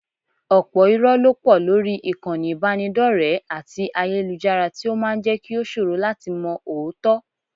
Ọ̀pọ̀ irọ́ ló pọ̀ lórí ìkànnì ìbánidọ́rẹ̀ẹ́ àti ayélujára tí ó máa ń jẹ́ kí ó ṣòro láti mọ òótọ́